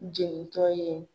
Jeni tɔ ye.